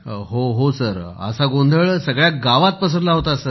हो सर असा गोंधळ सगळ्या गावात पसरला होता सर